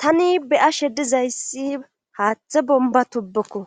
Tani beya shedizayssi haaththe bomba tubbokko